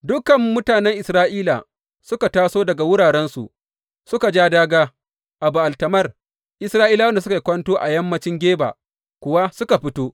Dukan mutanen Isra’ila suka taso daga wurarensu suka ja dāgā a Ba’al Tamar, Isra’ilawan da suka yi kwanto a yammancin Geba kuwa suka fito.